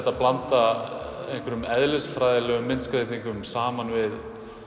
að blanda eðlisfræðilegum myndskreytingum saman við